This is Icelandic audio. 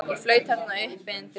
Ég flaut þarna uppi undir lofti.